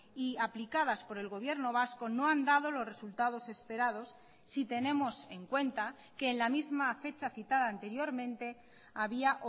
y aplicadas por el gobierno vasco no han dado los resultados esperados si tenemos en cuenta que en la misma fecha citada anteriormente había